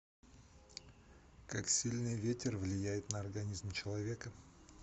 как сильный ветер влияет на организм человека